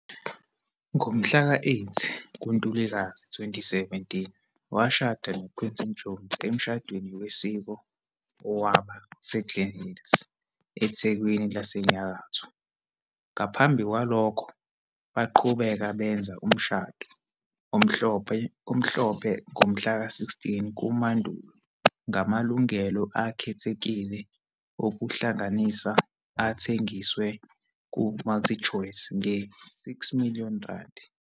Ngomhlaka 8 kuNtulikazi 2017, washada no-Quinton Jones emshadweni wesiko owaba se-Glenn Hills, eThekwini laseNyakatho, ngaphambi kwalokho, baqhubeka benza umshado omhlophe ngomhlaka 16 kuMandulo ngamalungelo akhethekile okuhlanganisa athengiswe ku-Multichoice nge-R6-million.